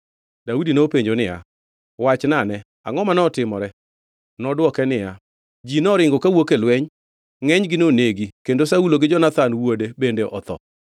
Daudi nopenjo niya, “Wachnane, angʼo manotimore?” Nodwoke niya, “Ji noringo kawuok e lweny. Ngʼenygi nonegi kendo Saulo gi Jonathan wuode bende otho.”